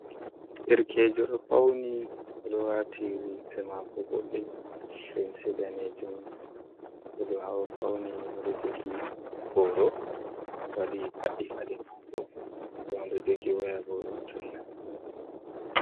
Derkejo ɗo fauni, oɗo waati limse mako boɗɗe limse daneejum, oɗo fauni oɗo jogi booro waɗi paɗɗi paɗe maako den oɗo jogi waya bo tunna.